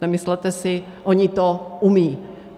Nemyslete si, oni to umějí.